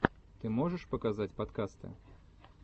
ты можешь показать подкасты